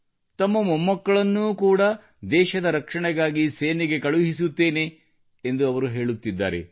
ತಮ್ಮ ಮೊಮ್ಮಕ್ಕಳನ್ನೂ ಕೂಡ ದೇಶದ ರಕ್ಷಣೆಗಾಗಿ ಸೇನೆಗೆ ಕಳುಹಿಸುತ್ತೇನೆ ಎಂದು ಅವರು ಹೇಳುತ್ತಿದ್ದಾರೆ